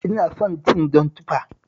Ina son cin jan tufa